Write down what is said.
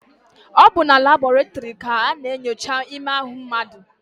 Ọ bụ na labọretịrị ka a na-enyocha ime ahụ mmadụ?